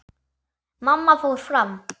Mamma fór fram.